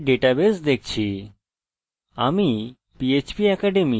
তাহলে আমরা এখানে আমাদের ডাটাবেস দেখছি